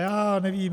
Já nevím.